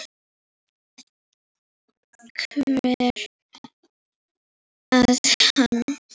hver er hann?